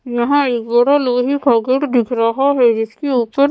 यहाँ एक बड़ा लोहे का गेट दिख रहा है जिसके ऊपर --